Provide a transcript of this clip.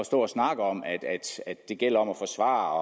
stå og snakke om at det gælder om at forsvare